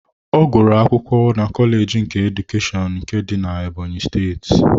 Ọ gụrụ akwụkwọ na kọleji nke Edukeshọn nke dị Ebonyi steeti.